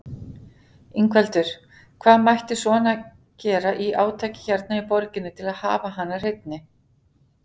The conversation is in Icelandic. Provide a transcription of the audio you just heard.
Ingveldur: Hvað mætti svona gera í átaki hérna í borginni til að hafa hana hreinni?